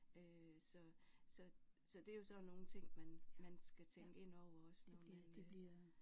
Øh så så så det er jo sådan nogle ting man man skal tænke ind over også når man